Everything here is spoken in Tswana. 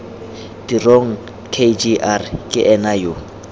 tirong kgr ke ena yo